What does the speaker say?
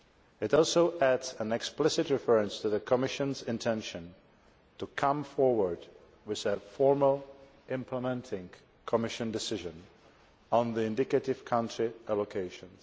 It also adds an explicit reference to the Commission's intention to come forward with a formal implementing Commission decision on the indicative country allocations.